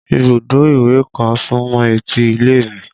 Ibùdó ìwẹ̀ kan súmọ́ etí ilé mi